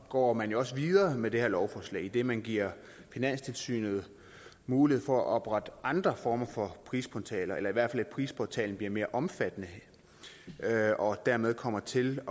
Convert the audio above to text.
går man jo også videre med det her lovforslag idet man giver finanstilsynet mulighed for at oprette andre former for prisportaler eller i hvert fald at prisportalen bliver mere omfattende og dermed kommer til